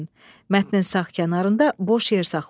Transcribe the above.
Mətnin sağ kənarında boş yer saxlayın.